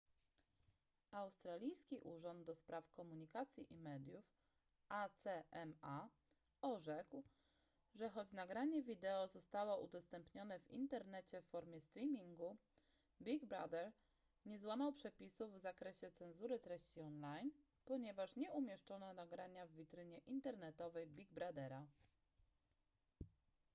australijski urząd ds. komunikacji i mediów acma orzekł że choć nagranie wideo zostało udostępnione w internecie w formie streamingu big brother nie złamał przepisów w zakresie cenzury treści online ponieważ nie umieszczono nagrania w witrynie internetowej big brothera